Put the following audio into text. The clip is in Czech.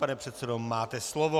Pane předsedo, máte slovo.